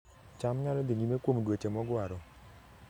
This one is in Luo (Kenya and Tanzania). cham nyalo dhi nyime kuom dweche mogwaro